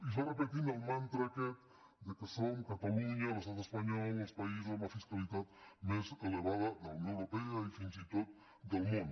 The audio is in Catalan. i es va repetint el mantra aquest que som catalunya l’estat espanyol els països amb la fiscalitat més elevada de la unió europea i fins i tot del món